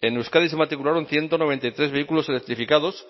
en euskadi se matricularon ciento noventa y tres vehículos electrificados